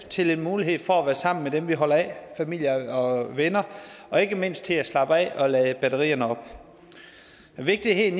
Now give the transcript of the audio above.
til en mulighed for at være sammen med dem man holder af familie og venner og ikke mindst til at slappe af og lade batterierne op vigtigheden